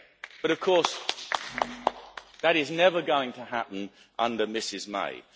But, of course, that is never going to happen under Mrs May.